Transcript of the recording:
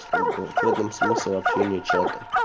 как бы в этом смысл общения чата